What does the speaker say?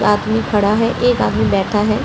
आदमी खड़ा है एक आदमी बैठा है।